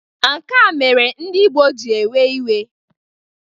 Nka mere ndị Igbo ji ewe iwe